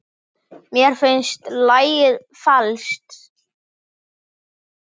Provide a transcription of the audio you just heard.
Mér finnst lagið falskt.